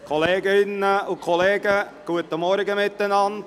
Kolleginnen und Kollegen, guten Morgen miteinander.